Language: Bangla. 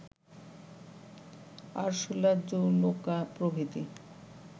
আরসুলা জলৌকা প্রভৃতি